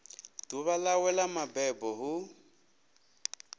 ḓuvha ḽawe ḽa mabebo hu